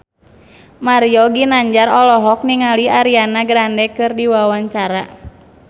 Mario Ginanjar olohok ningali Ariana Grande keur diwawancara